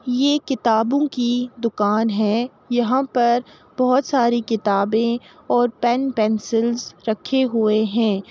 ये किताबों की दुकान है | यहाँ पर बोहोत सारी किताबें और पेन पेंसिल्स रखे हुए हैं ।